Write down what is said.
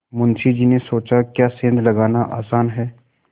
मुंशी जी ने सोचाक्या सेंध लगाना आसान है